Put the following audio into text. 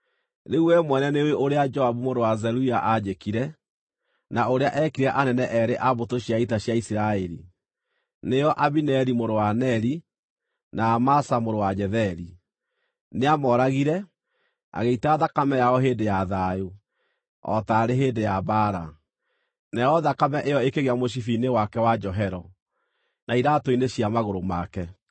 “Rĩu wee mwene nĩũĩ ũrĩa Joabu mũrũ wa Zeruia aanjĩkire, na ũrĩa eekire anene eerĩ a mbũtũ cia ita cia Isiraeli, nĩo Abineri mũrũ wa Neri, na Amasa mũrũ wa Jetheri. Nĩamooragire, agĩita thakame yao hĩndĩ ya thayũ, o taarĩ hĩndĩ ya mbaara, nayo thakame ĩyo ĩkĩgĩa mũcibi-inĩ wake wa njohero, na iraatũ-inĩ cia magũrũ make.